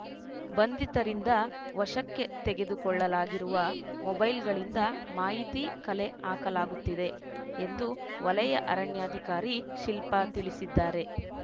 ಬಂಧಿತರಿಂದ ವಶಕ್ಕೆ ತೆಗೆದುಕೊಳ್ಳಲಾಗಿರುವ ಮೊಬೈಲ್‌ಗಳಿಂದ ಮಾಹಿತಿ ಕಲೆ ಹಾಕಲಾಗುತ್ತಿದೆ ಎಂದು ವಲಯ ಅರಣ್ಯಾಧಿಕಾರಿ ಶಿಲ್ಪಾ ತಿಳಿಸಿದ್ದಾರೆ